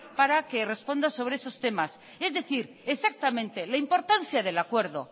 para que responda sobre esos temas es decir exactamente la importancia del acuerdo